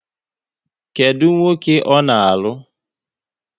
Kedụ nwoke ọ na-alụ?